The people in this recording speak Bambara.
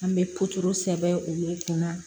An bɛ sɛbɛn olu kunna